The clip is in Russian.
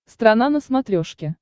страна на смотрешке